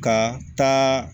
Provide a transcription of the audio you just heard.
Ka taa